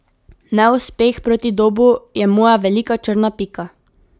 Neuspeh proti Dobu je moja velika črna pika.